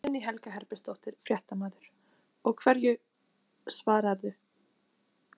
Guðný Helga Herbertsdóttir, fréttamaður: Og hverju svararðu?